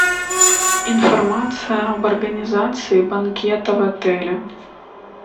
информация об организации банкета в отеле